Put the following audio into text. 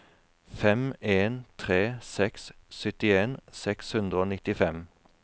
fem en tre seks syttien seks hundre og nittifem